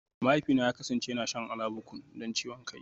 Mahaifina ya kasance yana shan Alabukun don ciwon kai